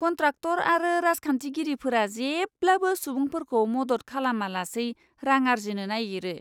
Contractor आरो राजखान्थिगिरिफोरा जेब्लाबो सुबुंफोरखौ मदद खालामालासै रां आर्जिनो नायगिरो।